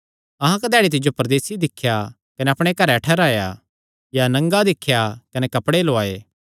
अहां कधैड़ी तिज्जो परदेसी दिख्या कने अपणे घरैं ठैहराया या नंगा दिख्या कने कपड़े लौआये